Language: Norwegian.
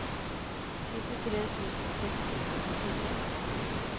syttitre tusen seks hundre og nittitre